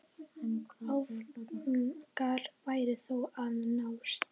Áfangar væru þó að nást.